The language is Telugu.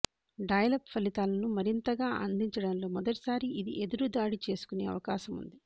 డయల్ అప్ ఫలితాలను మరింతగా అందించడంలో మొదటిసారి ఇది ఎదురుదాడి చేసుకొనే అవకాశముంది